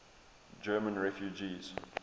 german refugees